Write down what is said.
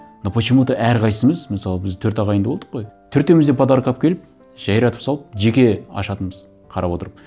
но почему то әрқайсысымыз мысалы біз төрт ағайынды болдық қой төртеуіміз де подарок алып келіп жайратып салып жеке ашатынбыз қарап отырып